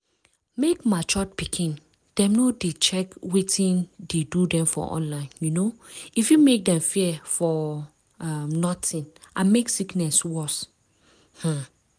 mek matured pikin dem no de check wetin dey do dem for online um e fit mek dem fear for um notin and mek sickness worse. um